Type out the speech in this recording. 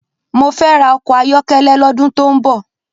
Mó fè rá òkò áyòkélé lòdún tó n bò